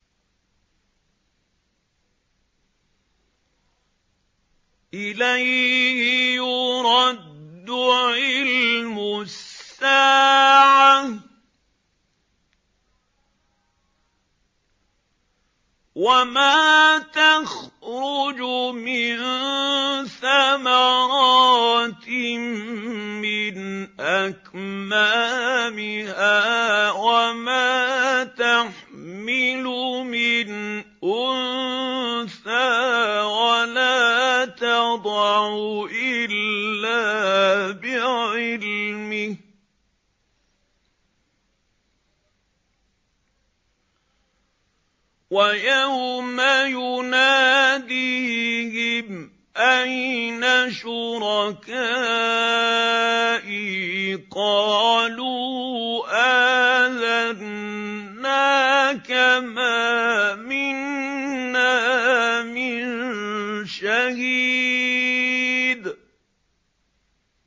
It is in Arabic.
۞ إِلَيْهِ يُرَدُّ عِلْمُ السَّاعَةِ ۚ وَمَا تَخْرُجُ مِن ثَمَرَاتٍ مِّنْ أَكْمَامِهَا وَمَا تَحْمِلُ مِنْ أُنثَىٰ وَلَا تَضَعُ إِلَّا بِعِلْمِهِ ۚ وَيَوْمَ يُنَادِيهِمْ أَيْنَ شُرَكَائِي قَالُوا آذَنَّاكَ مَا مِنَّا مِن شَهِيدٍ